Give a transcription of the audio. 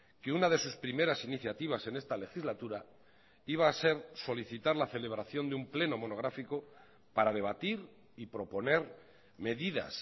que una de sus primeras iniciativas en esta legislatura iba a ser solicitar la celebración de un pleno monográfico para debatir y proponer medidas